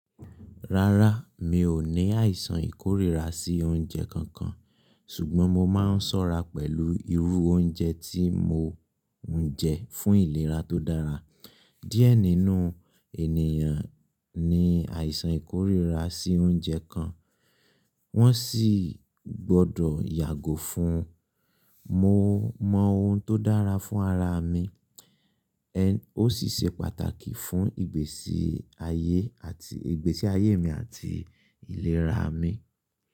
Rárá, mi ò ní àìsàn ìkórira sí oúnjẹ kankan, ṣùgbọ́n mo máa ń ṣọ́ra pẹ̀lú irú oúnjẹ tí mo ń jẹ fún ìlera tó dára. Diẹ nínú ènìyàn ní àìsàn ìkórira sí oúnjẹ kan, wọ́n sì gbọ́dọ̀ yàgò fún un. Mo mọ ohun tó dára fún ara mi, ó sì ṣe pàtàkì fún ìgbésí ayé mi àti ìlera mi.